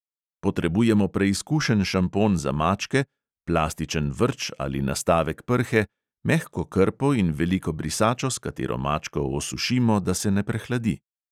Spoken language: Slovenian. Potrebujemo preizkušen šampon za mačke, plastičen vrč ali nastavek prhe, mehko krpo in veliko brisačo, s katero mačko osušimo, da se ne prehladi.